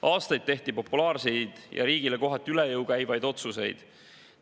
Aastaid tehti populaarseid ja riigile kohati üle jõu käivaid otsuseid.